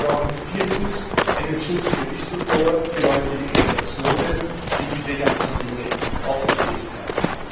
Wir brauchen viertens einen Schutz für Whistleblower, für Leute wie Edward Snowden, die diese ganzen Dinge aufgedeckt haben.